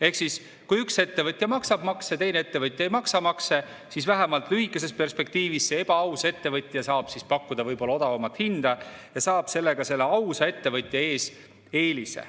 Ehk kui üks ettevõtja maksab makse ja teine ettevõtja ei maksa makse, siis vähemalt lühikeses perspektiivis see ebaaus ettevõtja saab pakkuda võib-olla odavamat hinda ja saab sellega selle ausa ettevõtja ees eelise.